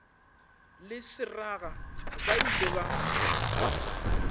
le seraga ba ile ba